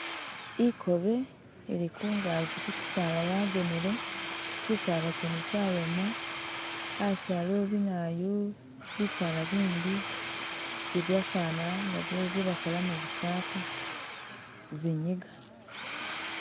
Ikobe ili kungazi kikyisala yakonele kisala kyene kyayoma asi aliwo binawoyu bisaala bindi bibyefana nga bye bakholamo bisampa zinyiga.